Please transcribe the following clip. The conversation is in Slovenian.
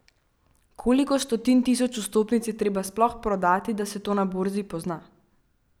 Koliko stotin tisoč vstopnic je treba sploh prodati, da se to na borzi pozna?